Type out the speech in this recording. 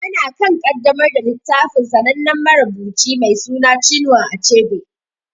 Ana kan ƙaddamar da littafin sanannen marubuci mai suna Chinua Achebe.